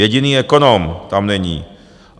Jediný ekonom tam není.